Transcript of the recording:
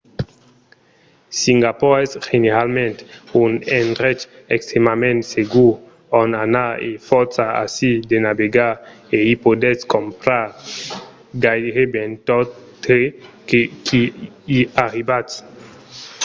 singapor es generalament un endrech extrèmament segur ont anar e fòrça aisir de navegar e i podètz crompar gaireben tot tre qu'i arribatz